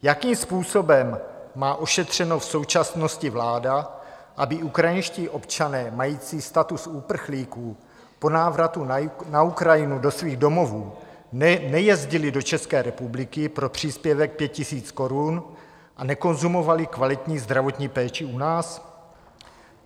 Jakým způsobem má ošetřeno v současnosti vláda, aby ukrajinští občané mající status uprchlíků po návratu na Ukrajinu do svých domovů nejezdili do České republiky pro příspěvek 5 000 korun a nekonzumovali kvalitní zdravotní péči u nás?